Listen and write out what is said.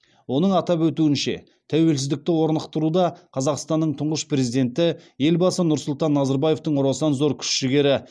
оның атап өтуінше тәуеліздікті орнықтыруда қазақстанның тұңғыш президенті елбасы нұрсұлтан назарбаевтың орасан зор күш жігері